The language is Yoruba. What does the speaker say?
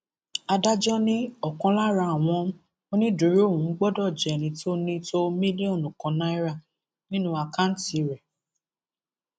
adájọ ni ọkan lára àwọn onídùúró ọhún gbọdọ jẹ ẹni tó ní tó mílíọnù kan náírà nínú àkáǹtì rẹ